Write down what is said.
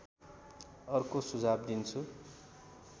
अर्को सुझाव दिन्छु